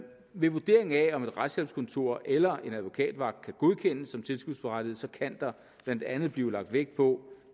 ved vurderingen af om et retshjælpskontor eller en advokatvagt kan godkendes som tilskudsberettiget kan der blandt andet blive lagt vægt på